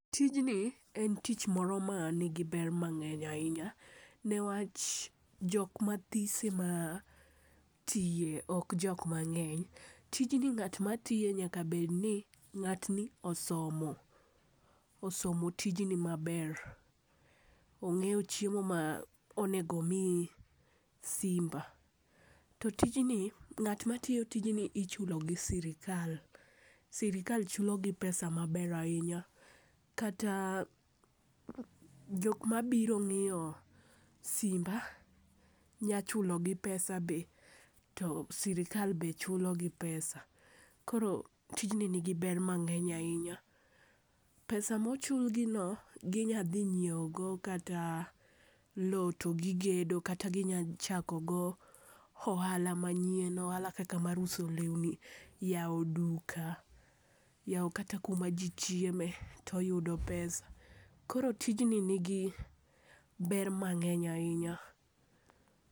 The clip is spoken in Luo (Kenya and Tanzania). Tijni en tich moro manigi ber mang'eny ahinya newach jok mathis ema tiye, ok jok mang'eny. tijni ng'at matiye nyaka bedni ,ng'atni osomo, osomo tijni maber. Onge'yo chiemo ma onego omi simba. To tijni ,ng'at matiyo tijni ichulo gi sirikal. Sirikal chulogi pesa maber ahinya, kata jok mabiro ng'iyo simba nya chulogi pesa be, to sirikal be chulogi pesa. Koro tijni nigi ber mang'eny ahinya. pesa mochulgino, ginya dhi nyiewogo kata lowo to gigedo, kata ginya chako go ohala manyien, ohala kaka mar uso lewni, yawo duka, yawo kata kuma ji chieme toyudo pesa. Koro tijni nigi ber mang'eny ahinya.